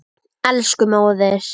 Elsku móðir.